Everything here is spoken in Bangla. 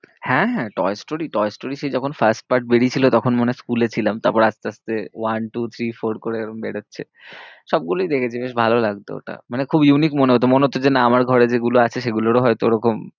হ্যাঁ, হ্যাঁ, টয়েস স্টোরি টয়েস স্টোরি সে যখন first part বেরিয়েছিল, তখন মনে হয় school এ ছিলাম, তারপরে আস্তে আস্তে one-two-three-four করে এরম বেরোচ্ছে সব গুলোই দেখেছি বেশ ভালো লাগতো ওটা, মানে খুব unique মনে হতো, মনে হতো যে না আমার ঘরে যেগুলো আছে সেগুলোরও হয়তো ওরকম